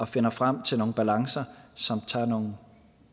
finder frem til nogle balancer som tager nogle